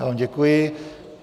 Já vám děkuji.